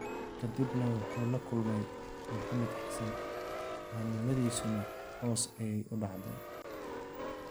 "Kadibna wuxuu la kulmay Maxamed Xassan, caannimadiisuna hoos ayey u dhacday."